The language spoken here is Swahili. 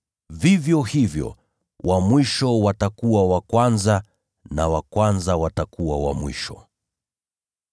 “Vivyo hivyo, wa mwisho watakuwa wa kwanza, na wa kwanza watakuwa wa mwisho.”